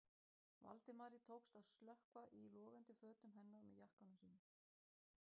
Valdimari tókst að slökkva í logandi fötum hennar með jakkanum sínum.